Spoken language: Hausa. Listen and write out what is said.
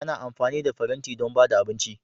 Ana amfani da faranti don ba da abinci